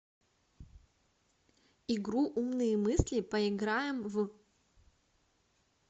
игру умные мысли поиграем в